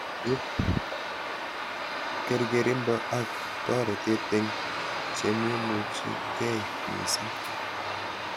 Rub kerkeindo ak toretet eng chemaimuchke mising